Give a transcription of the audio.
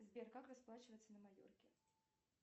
сбер как расплачиваться на майорке